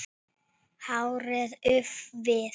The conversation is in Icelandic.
Hárið úfið.